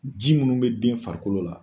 Ji munnu bɛ den farikolo la.